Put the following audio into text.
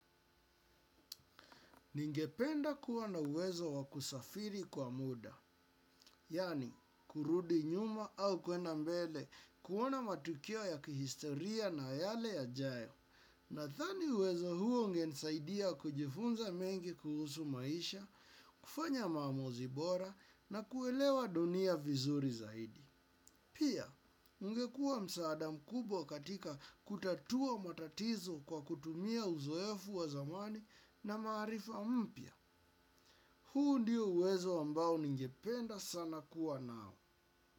Ningependa kua na uwezo wakusafiri kwa muda, yaani kurudi nyuma au kwenda mbele kuona matukio ya kihistoria na yale yajayo. Nathani uwezo huo ungensaidia kujifunza mengi kuhusu maisha, kufanya maamuzi bora na kuelewa dunia vizuri zaidi. Pia, ungekuwa msaada mkubwa katika kutatua matatizo kwa kutumia uzoefu wa zamani na marifa mpya. Huu ndio uwezo ambao ningependa sana kuwa nao.